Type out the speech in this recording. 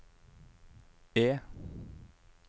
E